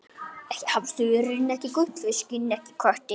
Hann sendi ég utan.